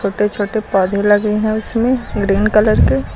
छोटे छोटे पौधे लगे हैं उसमें ग्रीन कलर के।